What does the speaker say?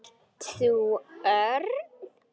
Ert þú Örn?